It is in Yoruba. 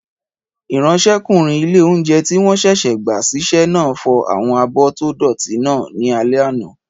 Ìráńṣẹ́kùnrin ilé-oúnjẹ tí wọ́n sẹ̀sẹ̀ gbà ṣiṣẹ́ náà fọ àwọn abọ́ tó dọ̀ọ̀tí náà ní alẹ́ àná